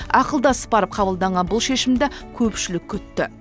ақылдасып барып қабылданған бұл шешімді көпшілік күтті